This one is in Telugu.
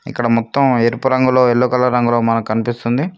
ఇక్కడ మొత్తం ఎరుపు రంగులో ఎల్లో కలర్ రంగులో మనం కనిపిస్తుంది.